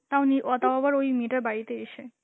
তাও নিউ~ ও তাও আবার ওই মেয়েটার বাড়িতে এসে.